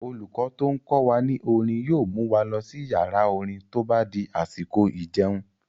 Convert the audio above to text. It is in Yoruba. Olùkọ́ tó n kọ wa ní orin yóò mu wa lọ sí yàrá-orin tó bá di àsìkò ìjẹun